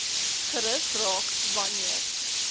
gerus raak wanneer